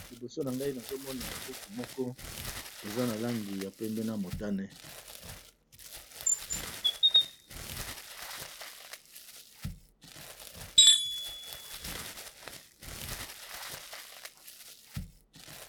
Liboso na ngai nazomona buku moko eza na langi ya pembe na motane.